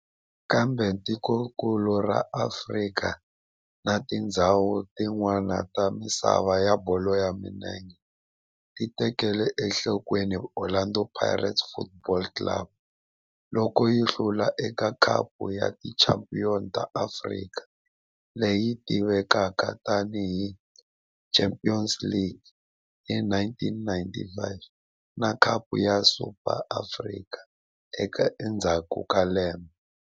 Kambe tikonkulu ra Afrika na tindzhawu tin'wana ta misava ya bolo ya milenge ti tekele enhlokweni Orlando Pirates Football Club loko yi hlula eka Khapu ya Tichampion ta Afrika, leyi tivekaka tani hi Champions League, hi 1995 na Khapu ya Super ya Afrika endzhaku ka lembe.